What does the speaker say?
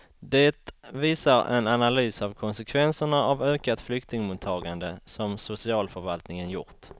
Det visar en analys av konsekvenserna av ökat flyktingmottagande som socialförvaltningen gjort.